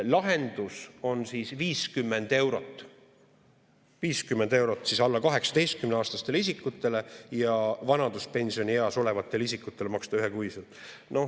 Lahendus on 50 eurot – maksta 50 eurot alla 18‑aastastele isikutele ja vanaduspensionieas olevatele isikutele ühekuiselt.